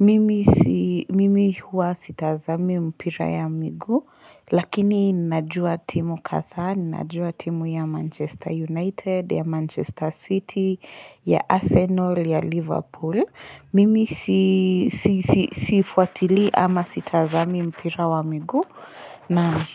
Mimi si, mimi huwa sitazami mpira ya mguu. Lakini najua timu kadha, najua timu ya Manchester United, ya Manchester City, ya Arsenal, ya Liverpool. Mimi sii si sifuatili ama sitazami mpira wa miguu na.